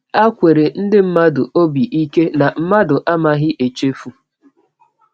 A kwere ndị mmadụ obi ike na mmadụ amaghi echefu.